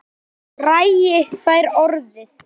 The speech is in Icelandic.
Bragi fær orðið